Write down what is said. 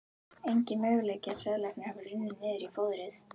Enginn möguleiki að seðlarnir hafi runnið niður í fóðrið.